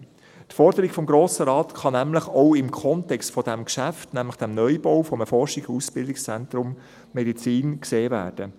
Die Forderung des Grossen Rates kann nämlich auch im Kontext dieses Geschäfts, nämlich des Neubaus eines Forschungs- und Ausbildungszentrums Medizin, gesehen werden;